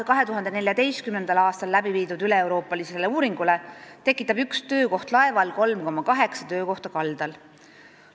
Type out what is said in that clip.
2014. aastal läbi viidud üleeuroopalise uuringu järgi tekitab üks töökoht laeval 3,8 töökohta kaldal.